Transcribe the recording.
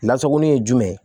Lasagoni ye jumɛn ye